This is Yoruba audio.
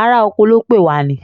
ará-oko ló pè wá ni